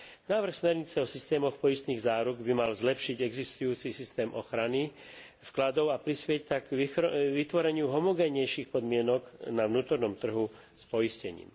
Návrh smernice o systémoch poistných záruk by mal zlepšiť existujúci systém ochrany vkladov a prispieť tak k vytvoreniu homogénnejších podmienok na vnútornom trhu s poistením.